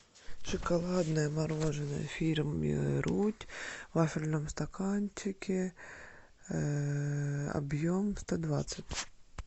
шоколадное мороженое фирмы рудь в вафельном стаканчике объем сто двадцать